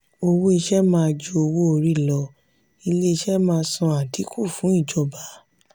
owó ìṣe má ju owó orí lọ ilé ìṣe má san adinku fún ìjọba.